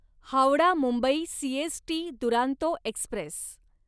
Howrah Mumbai CST Duronto Express